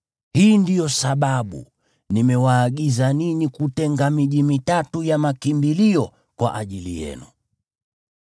Hii ndiyo sababu nimewaagiza ninyi kutenga miji mitatu ya makimbilio kwa ajili yenu.